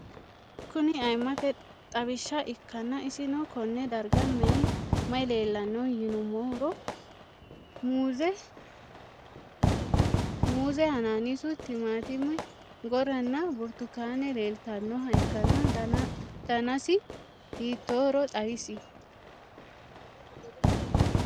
Kuni ayimate xawisha ikana isino Kone darga mayi leelanno yinumaro muuze hanannisu timantime gooranna buurtukaane leelitoneha ikanna danasi hitohoro xawis?